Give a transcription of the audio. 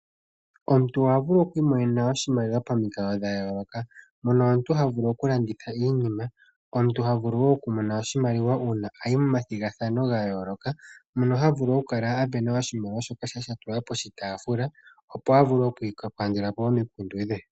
Omuntu oha vulu okwiimonena oshimaliwa pamikalo dha yooloka. Mono omuntu ha vulu okulanditha iinima, omuntu ha vulu wo okumona oshimaliwa uuna ayi momathigathano ga yooloka. Mono ha vulu okukala a sindana po oshimaliwa shoka sha tulwa poshitaafula opo avule okukandula po omikundu dhe.